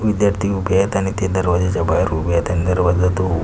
विध्यार्थी उभे आहेत आणि ते दरवाजाच्या बाहेर उभे आहेत आणि दरवाजा तो--